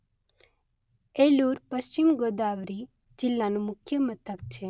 એલુર પશ્ચિમ ગોદાવરી જિલ્લાનું મુખ્ય મથક છે.